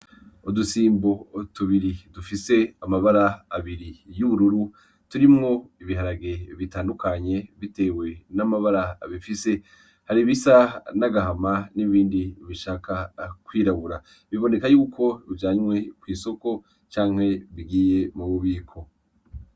Udusimbo tubiri dufise amabara abiri y'ubururu turimwo ibiharage bitandukanye, bitewe n'amabara bifise har'ibisa n'agahama n'ibindi bishaka kwirabura biboneka yuko bijanywe kw'isoko canke bigiye mu bubiko.